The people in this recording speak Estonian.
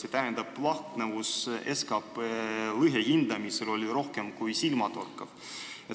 See tähendab, et lahknevus SKT lõhe hindamisel oli rohkem kui silmatorkav.